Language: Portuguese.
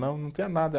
Não, não tinha nada.